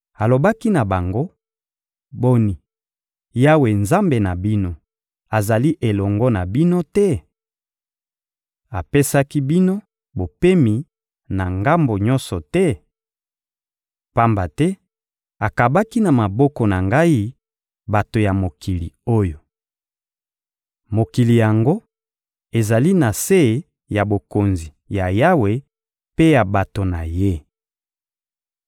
Alobaki na bango: «Boni, Yawe, Nzambe na bino, azali elongo na bino te? Apesaki bino bopemi na ngambo nyonso te? Pamba te akabaki na maboko na ngai bato ya mokili oyo. Mokili yango ezali na se ya bokonzi ya Yawe mpe ya bato na Ye.